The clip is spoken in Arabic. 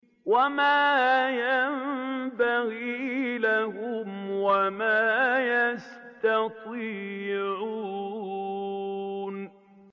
وَمَا يَنبَغِي لَهُمْ وَمَا يَسْتَطِيعُونَ